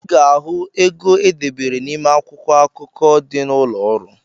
I ga-ahụ ego e debere n’ime akwụkwọ akụkọ dị n’ụlọọrụ